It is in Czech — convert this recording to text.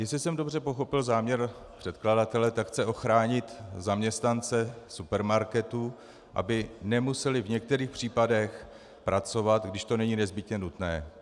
Jestli jsem dobře pochopil záměr předkladatele, tak chce ochránit zaměstnance supermarketů, aby nemuseli v některých případech pracovat, když to není nezbytně nutné.